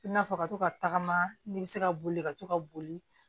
I n'a fɔ ka to ka tagama ni bɛ se ka boli ka to ka boli